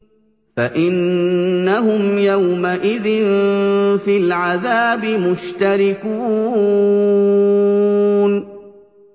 فَإِنَّهُمْ يَوْمَئِذٍ فِي الْعَذَابِ مُشْتَرِكُونَ